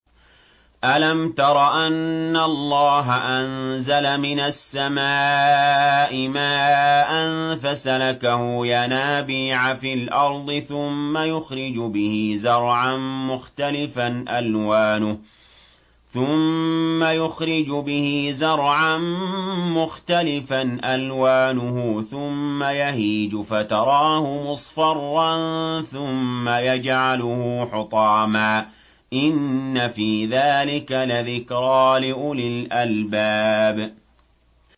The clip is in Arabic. أَلَمْ تَرَ أَنَّ اللَّهَ أَنزَلَ مِنَ السَّمَاءِ مَاءً فَسَلَكَهُ يَنَابِيعَ فِي الْأَرْضِ ثُمَّ يُخْرِجُ بِهِ زَرْعًا مُّخْتَلِفًا أَلْوَانُهُ ثُمَّ يَهِيجُ فَتَرَاهُ مُصْفَرًّا ثُمَّ يَجْعَلُهُ حُطَامًا ۚ إِنَّ فِي ذَٰلِكَ لَذِكْرَىٰ لِأُولِي الْأَلْبَابِ